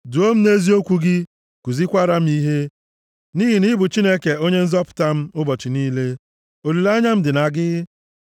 Duo m nʼeziokwu gị, kuzikwaara m ihe, nʼihi na ị bụ Chineke, onye Nzọpụta m, ụbọchị niile, olileanya m dị na gị.